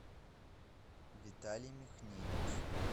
виталий михневич